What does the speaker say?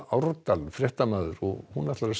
Árdal fréttamaður og ætlar að